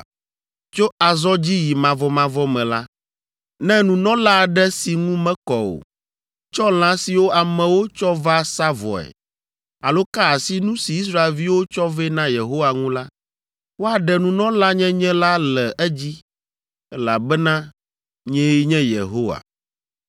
“Tso azɔ dzi yi mavɔmavɔ me la, ne nunɔla aɖe si ŋu mekɔ o, tsɔ lã siwo amewo tsɔ va sa vɔe alo ka asi nu si Israelviwo tsɔ vɛ na Yehowa ŋu la, woaɖe nunɔlanyenye la le edzi, elabena nyee nye Yehowa.